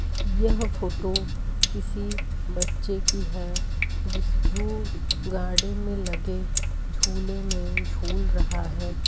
यह फोटो किसी बच्चे की है जिस जो गार्डन में लगे झूले में झूल रहा है।